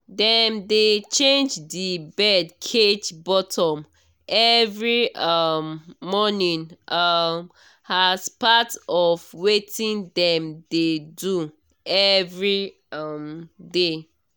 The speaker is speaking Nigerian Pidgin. dem dey change the bird cage bottom every um morning um as part of wetin dem dey do every um day